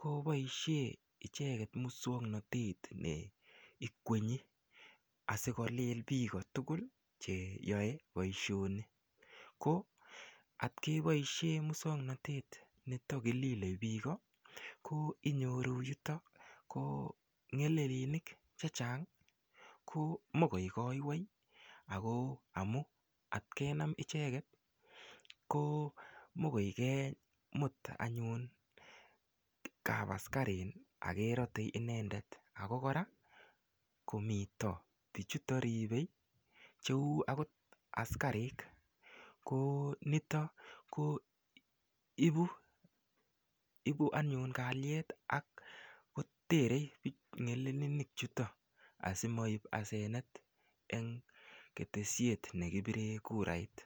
koboishe icheket muswongnotet neikwenyi asikolil biko tugul cheyoei boishoni ko atkeboishe muswongnotet nito kilile biko ko inyoru yutok ko ng'elelinik che chang mokoi koiwei ako amu atkenam icheket ko mokoi kemut anyun kap askarin akerotei inendet ako kora komito bichuto ripei cheu akot askarik ko nitok ko ibu anyun kaliet akoterei ng'elelinik chuto asimoip asenet eng ketesiet nekipire kurait.